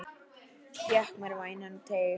Fékk mér vænan teyg.